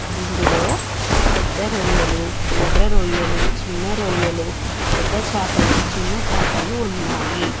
ఇందులో పెద్ద రొయ్యలు ఎర్ర రొయ్యలు చిన్న రొయ్యలు పెద్ద చాపలు చిన్న చాపలు ఉన్నాయి.